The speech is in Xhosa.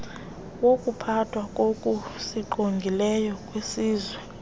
wokuphathwa kokusingqongileyo kwesizwe